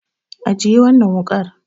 Ajiye wannan wuƙar.